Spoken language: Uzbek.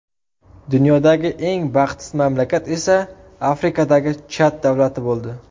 Dunyodagi eng baxtsiz mamlakat esa Afrikadagi Chad davlati bo‘ldi.